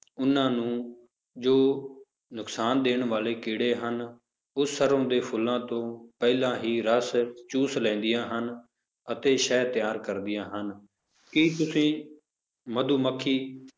ਉਹਨਾਂ ਨੂੰ ਜੋ ਨੁਕਸਾਨ ਦੇਣ ਵਾਲੇ ਕੀੜੇ ਹਨ, ਉਹ ਸਰੋਂ ਦੇ ਫੁੱਲਾਂ ਤੋਂ ਪਹਿਲਾਂ ਹੀ ਰਸ ਚੂਸ ਲੈਂਦੀਆਂ ਹਨ, ਅਤੇ ਸ਼ਹਿਦ ਤਿਆਰ ਕਰਦੀਆਂ ਹਨ, ਕੀ ਤੁਸੀਂ ਮਧੂ ਮੱਖੀ